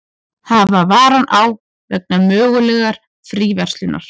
Hafa varann á vegna mögulegrar fríverslunar